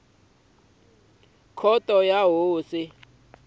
ya tikhoto ta tihosi na